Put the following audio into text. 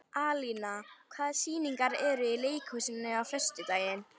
Alína, hvaða sýningar eru í leikhúsinu á föstudaginn?